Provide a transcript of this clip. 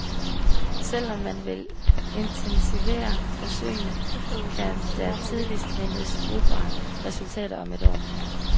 Selv om man vil intensivere forsøgene, kan der tidligst ventes brugbare resultater om et år.